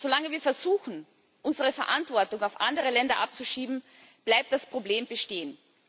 Solange wir versuchen, unsere Verantwortung auf andere Länder abzuschieben, bleibt das Problem bestehen.